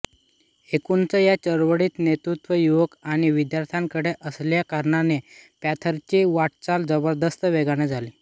एकूणच या चळवळीच नेतृत्व युवक आणि विद्यार्थ्यांकडे असल्याकारणाने पॅंथरची वाटचाल जबरदस्त वेगाने झाली